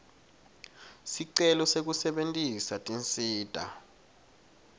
sicelo sekusebentisa tinsita